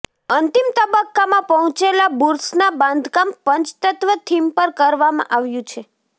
અંતિમ તબક્કામાં પહોંચેલા બુર્સના બાંધકામ પંચતત્વ થીમ પર કરવામાં આવ્યું છે